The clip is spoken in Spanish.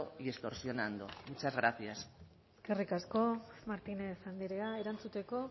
y extorsionando muchas gracias eskerrik asko martínez andrea erantzuteko